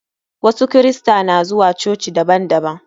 Wasu kirista na zuwa cococi daban daban.